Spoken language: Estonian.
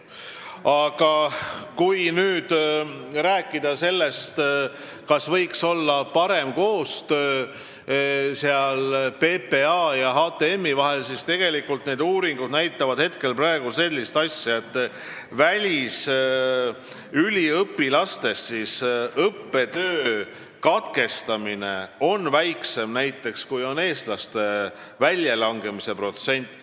Aga kui nüüd rääkida sellest, kas võiks olla parem koostöö PPA ja HTM-i vahel, siis tegelikult näitavad uuringud praegu sellist asja, et välisüliõpilaste õppetöö katkestamise protsent on väiksem kui eestlaste väljalangemise protsent.